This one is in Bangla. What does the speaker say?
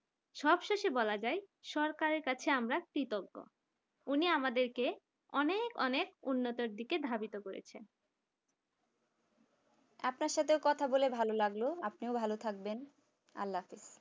সবশেষে বলা যায় সরকারের কাছে আমরা কৃতজ্ঞ উনি আমাদেরকে অনেক অনেক উন্নতির দিকে ধাবিত করেছেন আপনার সাথে কথা বলে ভালো লাগলো আপনিও ভালো থাকবেন আল্লাহ হাফেজ